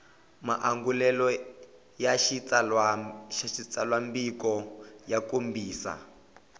maangulelo ya xitsalwambiko ya kombisa